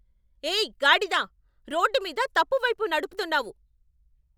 ఏయ్, గాడిద. రోడ్డు మీద తప్పు వైపు నడుపుతున్నావు.